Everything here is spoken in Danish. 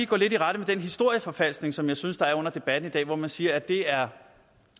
gå lidt i rette med den historieforfalskning som jeg synes der er under debatten i dag man siger at det er